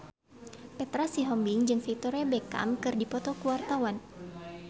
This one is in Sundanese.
Petra Sihombing jeung Victoria Beckham keur dipoto ku wartawan